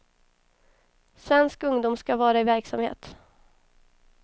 Svensk ungdom ska vara i verksamhet.